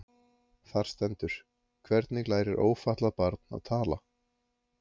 Þar stendur: Hvernig lærir ófatlað barn að tala?